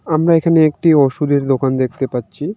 আমরা এখানে একটি ওষুধের দোকান দেখতে পাচ্ছি.